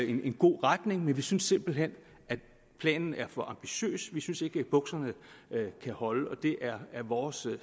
en god retning men vi synes simpelt hen at planen er for ambitiøs vi synes ikke at bukserne kan holde og det er vores